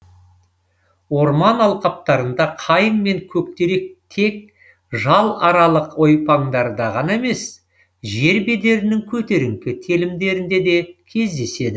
орман алқаптарында қайың мен көктерек тек жал аралық ойпаңдарда ғана емес жер бедерінің көтеріңкі телімдерінде де кездеседі